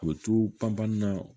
A bɛ to panpan na